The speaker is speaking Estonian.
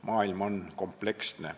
Maailm on kompleksne.